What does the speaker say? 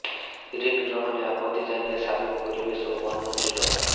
ঋণ গ্রহণে আপত্তি জানিয়ে সাবেক পরিবেশ ও বনমন্ত্রী ড